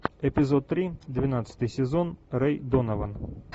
эпизод три двенадцатый сезон рэй донован